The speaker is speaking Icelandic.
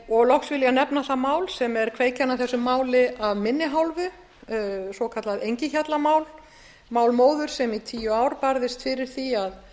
og loks vil ég nefna það mál sem er kveikjan að þessu máli af minni hálfu svokallað engihjallamál mál móður sem í tíu ár barðist fyrir því að